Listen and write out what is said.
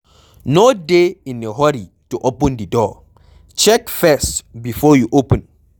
No dey in a hurry to open di door, check first before you open